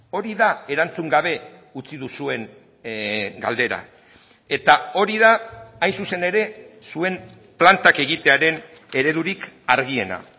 hori da erantzun gabe utzi duzuen galdera eta hori da hain zuzen ere zuen plantak egitearen eredurik argiena